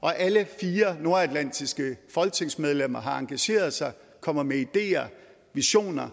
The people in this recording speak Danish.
og alle fire nordatlantiske folketingsmedlemmer har engageret sig kommer med ideer visioner